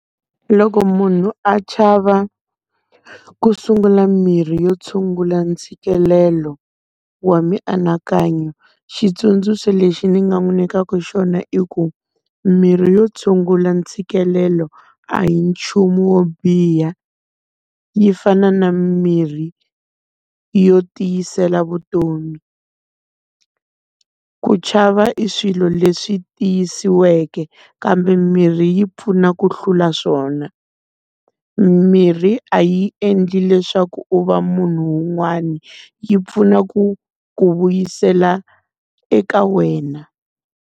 Loko munhu a chava ku sungula mirhi yo tshungula ntshikelelo wa mianakanyo, xitsundzuxo lexi ni nga n'wi nyikaka xona i ku, mirhi yo tshungula ntshikelelo a hi nchumu wo biha, yi fana na mimirhi yo tiyisela vutomi. Ku chava i swilo leswi tiyisiweke kambe mirhi yi pfuna ku hlula swona. Mirhi a yi endli leswaku u va munhu un'wana yi pfuna ku ku vuyisela eka wena.